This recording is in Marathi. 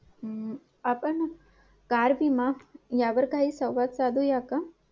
आपण car विमा यावर काही संवाद साधूया का?